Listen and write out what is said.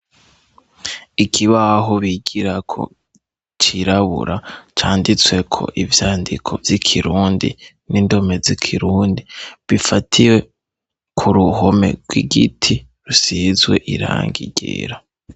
Ikibaho bigirako cirabura canditsweko ivyandiko vy'ikirundi n'indome zikirundi bifatiwe ku ruhome rw'igiti rusizwe irangi ryera.